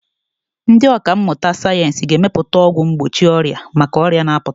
Ndị ọkà mmụta sayensị ga-emepụta ọgwụ mgbochi ọrịa maka ọrịa na-apụta.